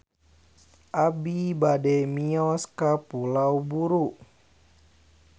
Abi bade mios ka Pulau Buru